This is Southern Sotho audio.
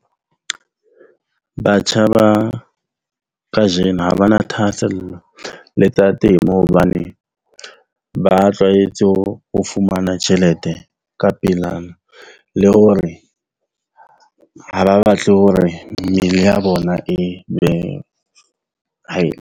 Batjha ba kajeno ha bana thahasello le tsa temo. Hobane ba tlwaetse ho ho fumana tjhelete ka pelana le hore ha ba batle hore mmele ya bona e be .